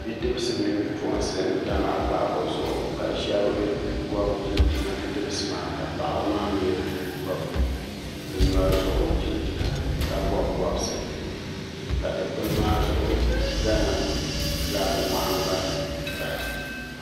Bɛ dbisi mini bɛ puɣinsi n tam a kpaako zuɣu ka shɛb gobi chinchina bi dibisi maa ka paɣi maa gobi bɛ nyori zuŋu chinchina ka bobi bobisi ka dukpuni maa zuɣu Gana fulaaki nahan gbana paya